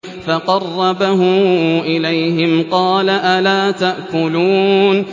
فَقَرَّبَهُ إِلَيْهِمْ قَالَ أَلَا تَأْكُلُونَ